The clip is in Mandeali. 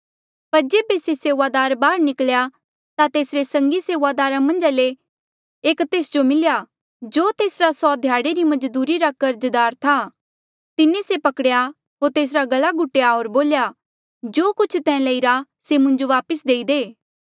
पर जेबे से सेऊआदार बाहर निकल्या ता तेसरे संगी सेऊआदारा मन्झा ले एक तेस जो मिल्या जो तेसरा सौ ध्याड़े री मजदूरी रा कर्जदार था तिन्हें से पकड़ेया होर तेसरा गला घुटेया होर बोल्या जो कुछ तैं लईरा से मुंजो वापस देई दे